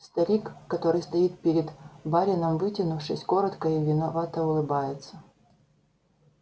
старик который стоит перед барином вытянувшись кротко и виновато улыбается